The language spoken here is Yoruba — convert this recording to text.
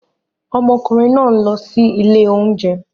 Ọmọkùnrin náà ń lọ sí ilé oúnjẹ